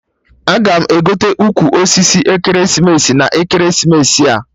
Aga m egote ukwu osisi ekeresimesi na ekeresimesi a